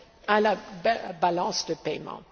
à la balance de paiements.